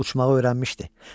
Uçmağı öyrənmişdi.